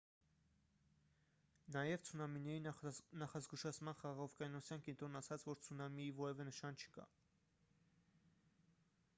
նաև ցունամիների նախազգուշացման խաղաղօվկիանոսյան կենտրոնն ասաց որ ցունամիի որևէ նշան չկա